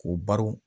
K'o baro